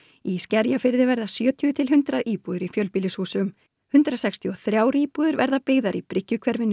í Skerjafirði verða sjötíu til hundrað íbúðir í fjölbýlishúsum hundrað sextíu og þrjár íbúðir verða byggðar í